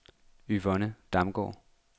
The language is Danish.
Yvonne Damgaard